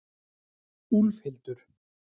Úlfhildur